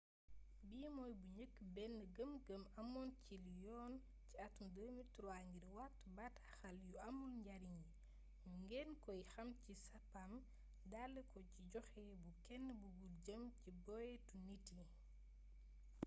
bi mooy bi njëkk bénn gëm gëm amoon ci liy yoon ci atum 2003 ngir wattu bataaxal yu amul njariñ yi ñu gën ko xam ci spam dale ko ci joxé bu kénn bugul jëm ci boyétu nit yi